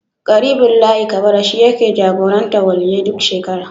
Ƙaribullahi Kabara shi yake jagorantar Waliyyai duk shekara.